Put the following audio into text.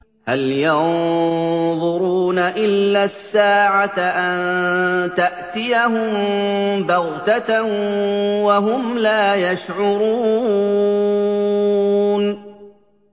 هَلْ يَنظُرُونَ إِلَّا السَّاعَةَ أَن تَأْتِيَهُم بَغْتَةً وَهُمْ لَا يَشْعُرُونَ